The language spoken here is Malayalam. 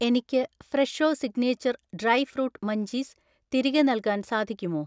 എനിക്ക് Fresho signature dry fruit munchies തിരികെ നൽകാൻ സാധിക്കുമോ?